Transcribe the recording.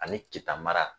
Ani keta mara